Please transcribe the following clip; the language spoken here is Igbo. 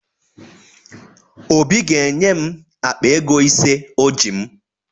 Obi ga-enye m akpa ego ise o ji m